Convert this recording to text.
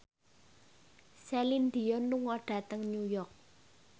Celine Dion lunga dhateng New York